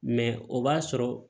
Mɛ o b'a sɔrɔ